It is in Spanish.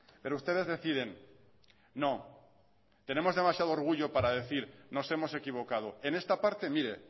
pero ustedes deciden no tenemos demasiado orgullo para decir nos hemos equivocado en esta parte mire